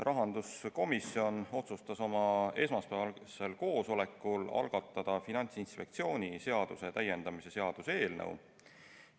Rahanduskomisjon otsustas oma esmaspäevasel koosolekul algatada Finantsinspektsiooni seaduse täiendamise seaduse eelnõu.